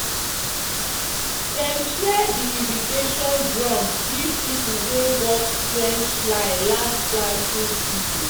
"dem share di irrigation drums give people wey work trench line last planting season."